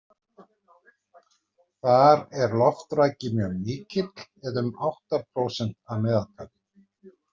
Þar er loftraki mjög mikill eða um átta prósent að meðaltali.